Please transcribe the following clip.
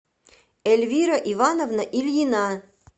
эльвира ивановна ильина